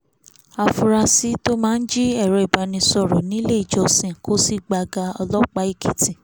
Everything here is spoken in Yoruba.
áfúrásì tó máa ń jí èrò ìbánisọ̀rọ̀ nílé ìjọsìn kó sì gbága ọlọ́pàá èkìtì